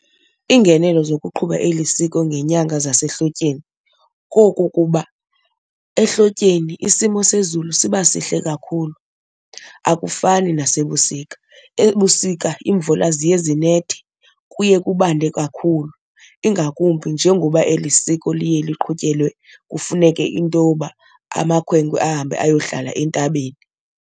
Iingenelo zokuqhuba eli siko ngeenyanga zasehlotyeni kokukuba ehlotyeni isimo sezulu siba sihle kakhulu akufani nasebusika. Ebusika iimvula ziye zinethe, kuye kubande kakhulu ingakumbi njengoba eli siko liye liqhutyelwe kufuneke into yoba amakhwenkwe ahambe ayohlala entabeni.